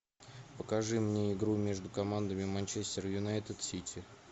покажи мне игру между командами манчестер юнайтед сити